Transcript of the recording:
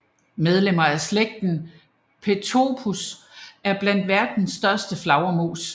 Medlemmerne af slægten Pteropus er blandt verdens største flagermus